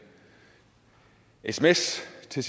sms til